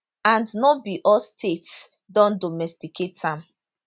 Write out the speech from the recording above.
and no be all states don domesticate am